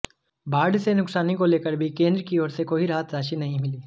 बाढ़ से नुकसानी को लेकर भी केंद्र की ओर से कोई राहत राशि नहीं मिली